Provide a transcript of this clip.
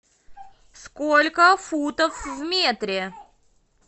сколько футов в метре